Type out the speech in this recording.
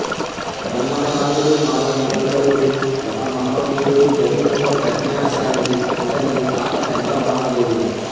గన్నమ నాయుడు మాల యుగంధరుడు ఒక మహావీరుడు బహుముఖప్రజ్ఞాశాలి ఈతని తాత పెద్ద మాల దేవుడు